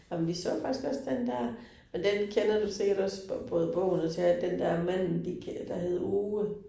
Ej men vi så faktisk også den der, men den kender du sikkert også, både bogen og teatret, den der manden gik, der hedder Ove